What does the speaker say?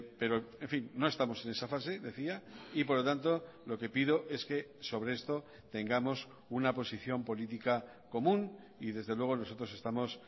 pero en fin no estamos en esa fase decía y por lo tanto lo que pido es que sobre esto tengamos una posición política común y desde luego nosotros estamos